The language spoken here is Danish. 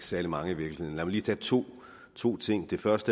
særlig mange i virkeligheden mig lige tage to to ting først